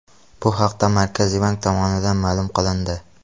Bu haqda Markaziy bank tomonidan ma’lum qilindi .